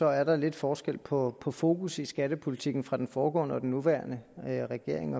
at der er lidt forskel på på fokus i skattepolitikken fra den foregående regering til den nuværende regering